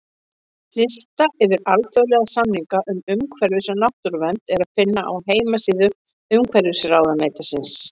Lista yfir alþjóðlega samninga um umhverfis- og náttúruvernd er að finna á heimasíðu Umhverfisráðuneytisins.